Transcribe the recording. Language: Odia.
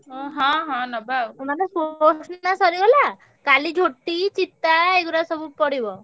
ହଁ ହଁ ନବା ଆଉ କାଲି ଝୋଟି, ଚିତା ଏଇଗୁଡା ସବୁ ପଡିବ।